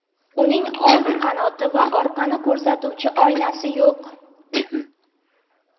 Uning old qanoti va orqani ko‘rsatuvchi oynasi yo‘q.